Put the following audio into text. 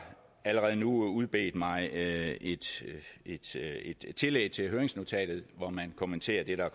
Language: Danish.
allerede nu udbedt mig et tillæg til høringsnotatet hvor man kommenterer det